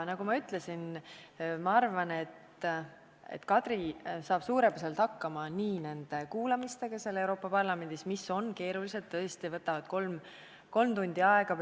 Nagu ma juba ütlesin, ma arvan, et Kadri saab suurepäraselt hakkama nende kuulamistega Euroopa Parlamendis, mis on tõesti keerulised, võtavad kolm tundi aega.